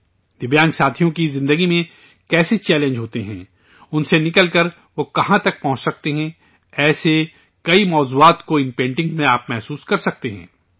دویانگ ساتھیوں کی زندگی میں کیسے چیلنجز آتے ہیں، ان سے نکل کر، وہ کہاں تک پہنچ سکتے ہیں! ایسے کئی موضوعات کو ان پینٹنگز میں آپ محسوس کر سکتے ہیں